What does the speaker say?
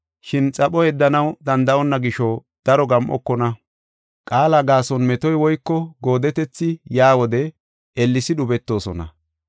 Shin xapho yeddanaw danda7onna gisho daro gam7okona. Qaala gaason metoy woyko goodetethi yaa wode ellesi dhubetoosona.